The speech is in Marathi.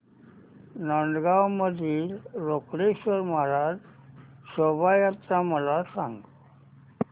नांदगाव मधील रोकडेश्वर महाराज शोभा यात्रा मला सांग